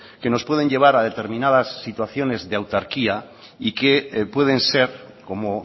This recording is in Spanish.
que nos pueden llevar a determinadas situaciones de autarquía y que pueden ser como